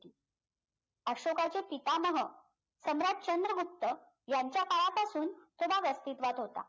अशोकाचे पितामह सम्राट चंद्रगुप्त मौर्य यांच्या काळापासून तो भाग अस्तित्वात होता